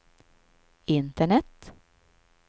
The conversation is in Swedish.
internet